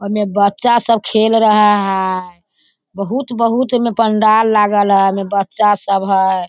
ओमें बच्‍चा सब खेल रहे है बहुत-बहुत एमे पंडाल लागल है एमे बच्‍चा सब है।